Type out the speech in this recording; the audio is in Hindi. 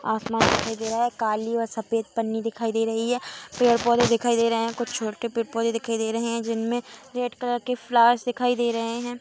आसमान दिखाई दे रहा है काली व सफेद पन्नी दिखाई दे रही है पेड़-पोधे दिखाई दे रहे हैं कुछ छोटे पेड़-पोधे रहे हैं जिनमें रेड कलर के फ्लावर दिखाई दे रहे है।